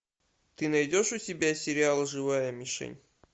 ты найдешь у себя сериал живая мишень